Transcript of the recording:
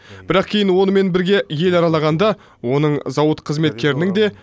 бірақ кейін онымен бірге ел аралағанда оның зауыт қызметкерінің де